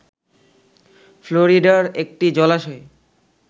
ফ্লোরিডার একটি জলাশয়ে